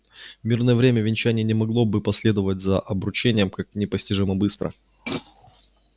в мирное время венчание не могло бы последовать за обручением так непостижимо быстро